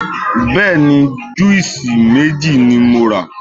Bẹ́ẹ̀ni, júùsí méjì ni mo rà.